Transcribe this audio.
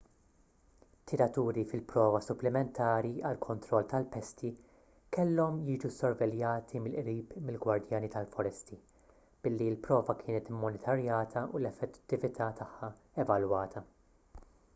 tiraturi fil-prova supplimentari għall-kontroll tal-pesti kellhom jiġu ssorveljati mill-qrib mill-gwardjani tal-foresti billi l-prova kienet immonitorjata u l-effettività tagħha evalwata